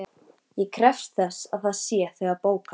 Ég krefst þess að það sé þegar bókað.